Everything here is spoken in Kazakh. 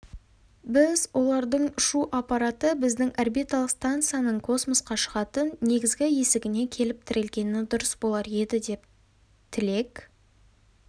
біз олардың ұшу аппараты біздің орбиталық станцияның космосқа шығатын негізгі есігіне келіп тірелгені дұрыс болар еді деп тілек